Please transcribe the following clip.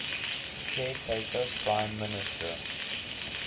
caretaker prime minister